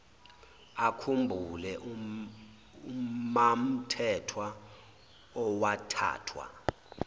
akhumbule umamthethwa owathathwa